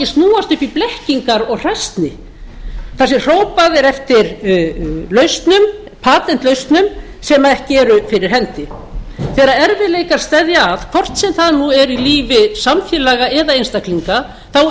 snúast upp í blekkingar og hræsni það sé hrópað er eftir lausnum patentlausnum sem ekki eru fyrir hendi þegar erfiðleikar steðja að hvort sem það er nú í lífi samfélaga eða einstaklinga þá